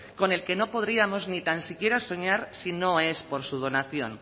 con el que no podríamos ni tan siquiera soñar si no es por su donación